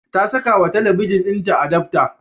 Ta sakawa talabijin ɗinta adapta.